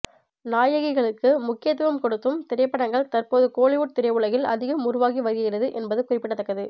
நாயகிகளுக்கு முக்கியத்துவம் கொடுத்தும் திரைப்படங்கள் தற்போது கோலிவுட் திரையுலகில் அதிகம் உருவாகி வருகிறது என்பது குறிப்பிடத்தக்கது